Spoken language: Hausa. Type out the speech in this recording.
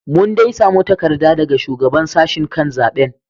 Mun dai samu takarda daga Shugaban Sashen kan zaben.